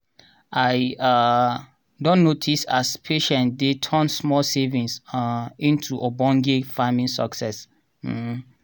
i um don notice as patience dey turn small savings um into ogbonge farming success. um